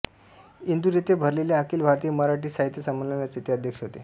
इंदूर येथे भरलेल्या अखिल भारतीय मराठी साहित्य संमेलनाचे ते अध्यक्ष होते